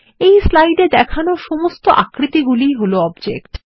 এই স্লাইড এ দেখানো সমস্ত আকৃতি গুলিই হল অবজেক্ট